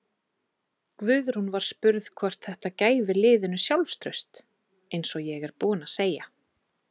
Guðrún var spurð hvort þætta gæfi liðinu sjálfstraust: Eins og ég er búinn að segja.